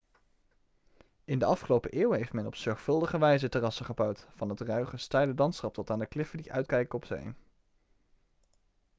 in de afgelopen eeuwen heeft men op zorgvuldige wijze terrassen gebouwd van het ruige steile landschap tot aan de kliffen die uitkijken op zee